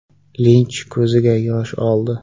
Linch ko‘ziga yosh oldi.